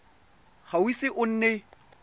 ga o ise o nne